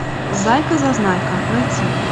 зайка зазнайка найти